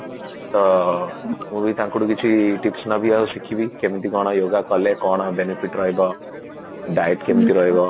ତ ମୁଁ ବି ତାଙ୍କଠୁ କିଛି tips ନେବି ଆଉ ଶିଖିବି କେମତି କଣ yoga କଲେ କଣ benefit ରହିବ deity କେମତି ରହିବ